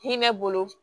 Hinɛ bolo